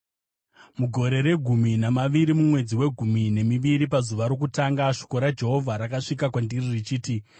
Mugore regumi namaviri, mumwedzi wegumi nemiviri pazuva rokutanga, shoko raJehovha rakasvika kwandiri richiti,